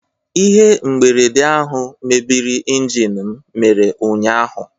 Ihe mberede ahụ mebiri injin m mere ụnyaahụ